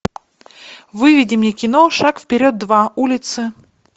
выведи мне кино шаг вперед два улицы